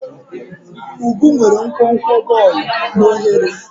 Ubu nwere nkwonkwo bọọlụ na oghere.